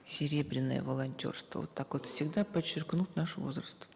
серебряное волонтерство вот так вот всегда подчеркнут наш возраст